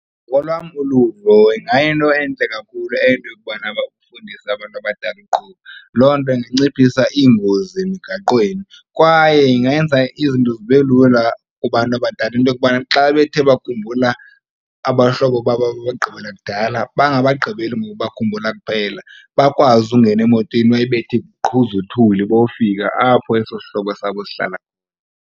Ngokolwam uluvo ingayinto entle kakhulu eyo yokubana bafundise abantu abadala ukuqhuba. Loo nto inciphisa iingozi emigaqweni kwaye ingenza izinto zibe lula kubantu abadala, into yokubana xa bethe bakhumbula abahlobo babo ababagqibela kudala bangabagqibeli ngokubakhumbula kuphela bakwazi ukungena emotweni bayibethe iqhuzuthuli bayofika apho eso sihlobo sabo sihlala.